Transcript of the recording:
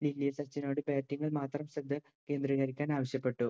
batting ഇൽ മാത്രം ശ്രദ്ധ കേന്ദ്രീകരിക്കാൻ ആവശ്യപ്പെട്ടു